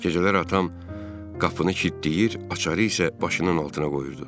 Gecələr atam qapını kilitləyir, açarı isə başının altına qoyurdu.